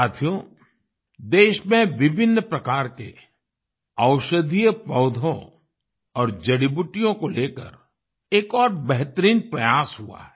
साथियो देश में विभिन्न प्रकार के औषधीय पौधों और जड़ीबूटियों को लेकर एक और बेहतरीन प्रयास हुआ है